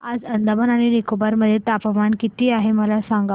आज अंदमान आणि निकोबार मध्ये तापमान किती आहे मला सांगा